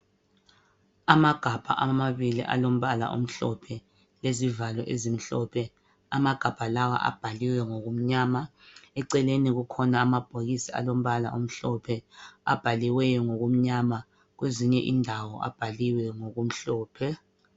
Amagabha amabili alombala omhlophe lezivalo ezimhlophe. Amagabha lawa abhaliwe ngokumnyama eceleni kukhona amabhokisi alombala omhlophe abhaliweyo ngokumnyama, kwezinye indawo abhaliwe ngokumhlophe.